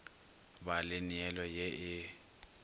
ba le neelo ye e